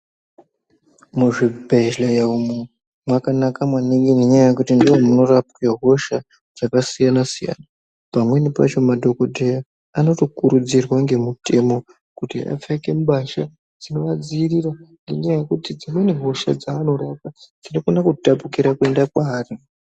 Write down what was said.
Muzvibhehleya umwu ngeya yekuti ndimwo munorapwa hosha dzakasiyana siyana pamweni pacho madhokodheya anokurudzirwa ngemutemo kuti vapfeke mbasha dzinovadzivirira ngenyaya yekuti dzimweni hosha dzavanorapa dzinokone kutapukira kuende kwavari.